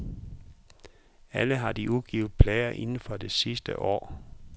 Alle har de udgivet plader inden for det sidste år.